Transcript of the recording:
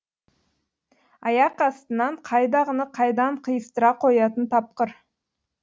аяқ астынан қайдағыны қайдан қиыстыра қоятын тапқыр